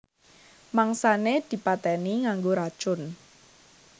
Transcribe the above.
Mangsané dipatèni nganggo racun